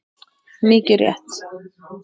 Mikið rétt!